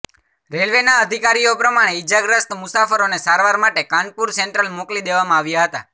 રેલવેનાં અધિકારીઓ પ્રમાણે ઇજાગ્રસ્ત મુસાફરોને સારવાર માટે કાનપુર સેન્ટ્રલ મોકલી દેવામાં આવ્યાં હતાં